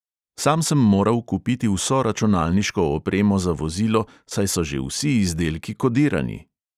Sam sem moral kupiti vso računalniško opremo za vozilo, saj so že vsi izdelki kodirani.